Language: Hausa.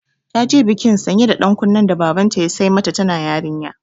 Ta ji bikin sanya da ɗan kunnen da Babanta ya sai mata tana yarinya.